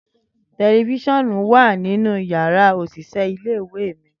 Tẹlifisiọnu wa ninu yàrá oṣiṣẹ ìle-ìwe mi.